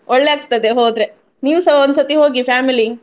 ಒಳ್ಳೆ ಆಗ್ತದೆ ಹೋದ್ರೆ ನೀವ್ಸ ಒಂದ್ ಸತಿ ಹೋಗಿ family .